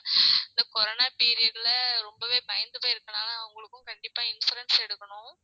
இந்த corono period ல ரொம்பவே பயந்து போய் இருக்கறதுனால அவங்களுக்கு கண்டிப்பா insurance எடுக்கணும்